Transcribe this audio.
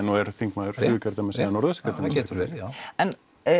þingmaður Suðurkjördæmis já það getur verið já en